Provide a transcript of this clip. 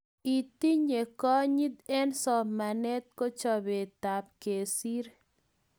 Itinye konyit eng somanet ko chopetap kesir